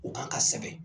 U kan ka sɛbɛn